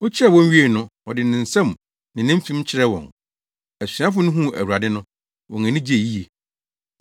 Okyiaa wɔn wiei no, ɔde ne nsam ne ne mfem kyerɛɛ wɔn. Asuafo no huu Awurade no, wɔn ani gyei yiye.